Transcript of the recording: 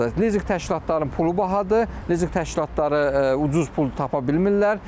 Lizinq təşkilatlarının pulu bahadır, Lizinq təşkilatları ucuz pul tapa bilmirlər.